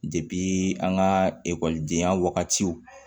an ka ekɔlidenya wagatiw